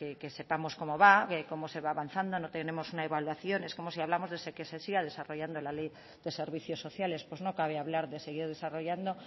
que sepamos cómo va cómo se va avanzando no tenemos una evaluación es como si hablamos de que se siga desarrollando la ley de servicios sociales pues no cabe hablar de seguir desarrollando